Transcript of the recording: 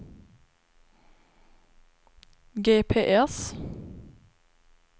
GPS